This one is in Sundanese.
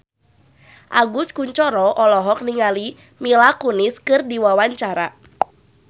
Agus Kuncoro olohok ningali Mila Kunis keur diwawancara